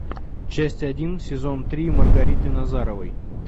часть один сезон три маргариты назаровой